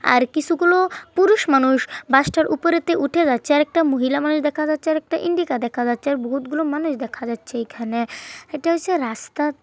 আর কিছুগুলো পুরুষ মানুষ বাস টার উপরেতে উঠে যাচ্ছে আর একটা মহিলা মানুষ দেখা যাচ্ছে আর একটা ইন্ডিকা দেখা যাচ্ছে আর বহুত গুলো মানুষ দেখা যাচ্ছে এখানে। ইটা হচ্ছে রাস্তা।